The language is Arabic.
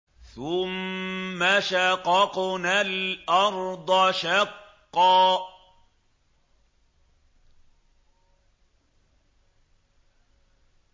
ثُمَّ شَقَقْنَا الْأَرْضَ شَقًّا